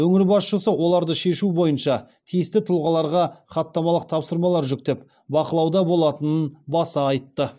өңір басшысы оларды шешу бойынша тиісті тұлғаларға хаттамалық тапсырмалар жүктеп бақылауда болатынын баса айтты